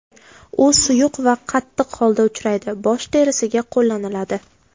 U suyuq va qattiq holda uchraydi, bosh terisiga qo‘llaniladi.